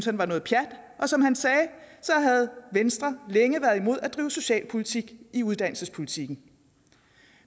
han var noget pjat og som han sagde havde venstre længe været imod at drive socialpolitik i uddannelsespolitikken